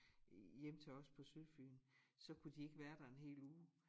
Hjem til os på Sydfyn så kunne de ikke være der en hel uge